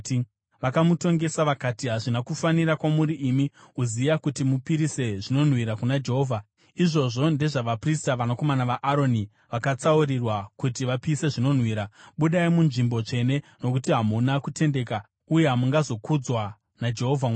Vakamutongesa vakati, “Hazvina kufanira kwamuri imi, Uzia, kuti mupisire zvinonhuhwira kuna Jehovha. Izvozvo ndezvavaprista, vanakomana vaAroni, vakatsaurirwa kuti vapise zvinonhuhwira. Budai munzvimbo tsvene, nokuti hamuna kutendeka, uye hamungazokudzwa naJehovha Mwari.”